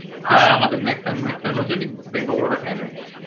হ্যাঁ আমাদের maximum maximum লোকজনই bank of Baroda র fan হয়ে গেছে